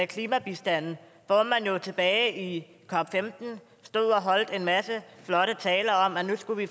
klimabistanden hvor man jo tilbage i cop15 stod og holdt en masse flotte taler om at nu skulle vi